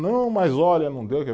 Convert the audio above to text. Não, mas olha, não deu